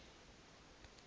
allow true mass